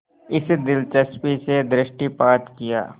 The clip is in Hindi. इस दिलचस्पी से दृष्टिपात किया